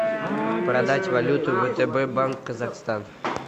продать валюту втб банк казахстан